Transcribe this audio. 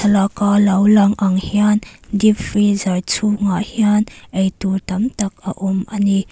laka lo lang ang hian dep freezer chungah hian ei tur tam tak a awm a ni.